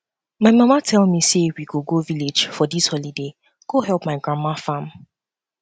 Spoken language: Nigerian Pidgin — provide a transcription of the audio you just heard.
my mama tell me say we go go village for dis holiday go help my grandma farm